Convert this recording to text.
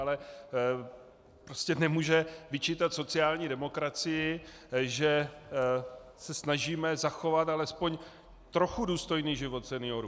Ale prostě nemůže vyčítat sociální demokracii, že se snažíme zachovat alespoň trochu důstojný život seniorů.